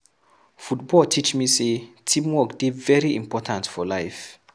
Football teach me sey teamwork dey very important for life